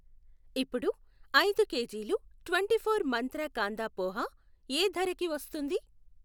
ఇప్పుడు ఐదు కేజీలు ట్వెంటీఫోర్ మంత్ర కాందా పోహా యే ధరకి వస్తుంది?